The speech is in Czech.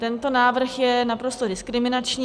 Tento návrh je naprosto diskriminační.